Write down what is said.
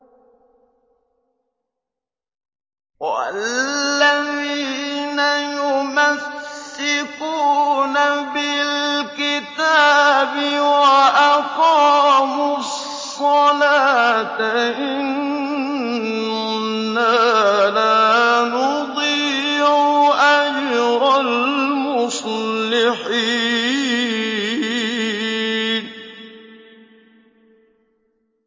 وَالَّذِينَ يُمَسِّكُونَ بِالْكِتَابِ وَأَقَامُوا الصَّلَاةَ إِنَّا لَا نُضِيعُ أَجْرَ الْمُصْلِحِينَ